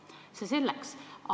Aga see selleks.